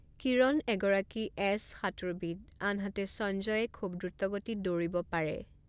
কিৰণ এগৰাকী এ'চ সাঁতোৰবিদ, আনহাতে সঞ্জয়ে খুব দ্ৰুতগতিত দৌৰিব পাৰে।